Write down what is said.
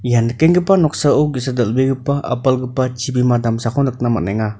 ia nikenggipa noksao ge·sa dal·begipa apalgipa chibima damsako nikna man·enga.